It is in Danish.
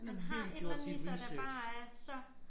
Han har et eller andet i sig der bare er så